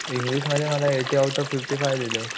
English मध्ये मला eighty out of fifty five दिलेले